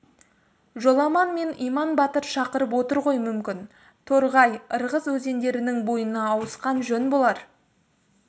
жоламан мен иман батыр шақырып отыр ғой мүмкін торғай ырғыз өзендерінің бойына ауысқан жөн болар